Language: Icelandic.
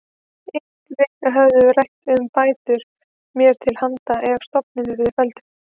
Engir höfðu enn rætt um bætur mér til handa ef stofninn yrði felldur.